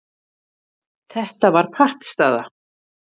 Þetta var pattstaða.